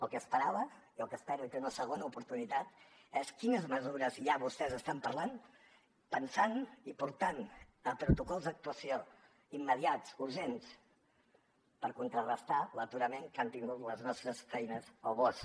el que esperava i té una segona oportunitat és quines mesures ja vostès estan parlant pensant i portant a protocols d’actuació immediats urgents per contrarestar l’aturament que han tingut les nostres feines al bosc